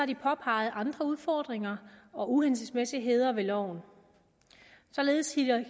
de påpeget andre udfordringer og uhensigtsmæssigheder ved loven således